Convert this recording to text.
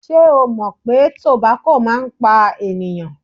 Ṣé o mọ̀ pé tobako máa ń pa ènìyàn?